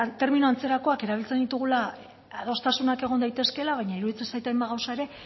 termino antzerakoak erabiltzen ditugula adostasunak egon daitezkeela baina iruditzen zait hainbat gauza ere